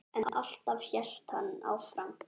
En alltaf hélt hann áfram.